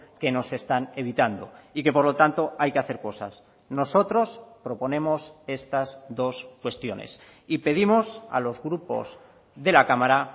que no se están evitando y que por lo tanto hay que hacer cosas nosotros proponemos estas dos cuestiones y pedimos a los grupos de la cámara